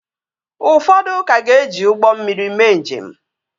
Ụfọdụ ka ga-eji ụgbọ mmiri mee njem